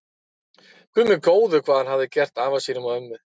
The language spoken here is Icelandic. Guð minn góður, hvað hafði hann gert afa sínum og ömmu.